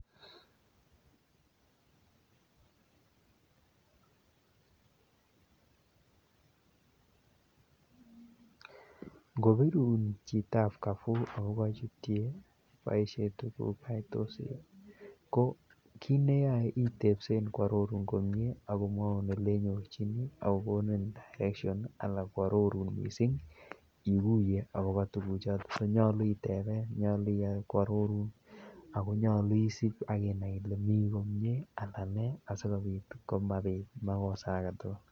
Ngobirun chitab Carrefour akobo chutye paishe tukukai ko kiit neyoe itebsen kwororun komnye ak komwoun elenyorchini ak kokonin direction alaa kwororun mising ikuiye akobo tukuchoton nyolu iteben, nyolu ikany kwororun ak konyolu isip ak inai ilee mii komnye alaan nee asimabit makosa aketukul.